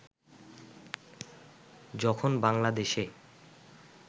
যখন বাংলাদেশে